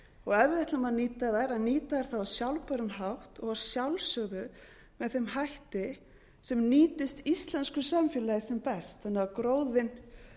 og ef við ætlum að nýta þær að nýta þær á sjálfbæran hátt og að sjálfsögðu með þeim hætti sem nýtist íslensku samfélagi sem best þannig að gróðinn